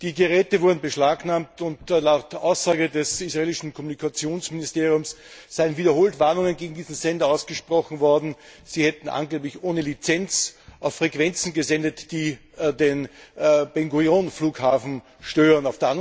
Die Geräte wurden beschlagnahmt, und laut Aussage des israelischen Kommunikationsministeriums seien wiederholt Warnungen gegen diese Sender ausgesprochen worden, sie hätten angeblich ohne Lizenz auf Frequenzen gesendet, die den Ben Gurion Fughafen stören.